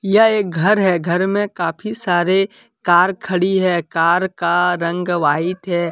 यह एक घर है घर में काफी सारे कार खड़ी है कार का रंग व्हाइट है।